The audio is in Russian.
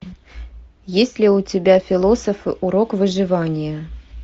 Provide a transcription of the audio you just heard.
есть ли у тебя философы урок выживания